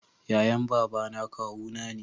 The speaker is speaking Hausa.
yayan babana kawu na ne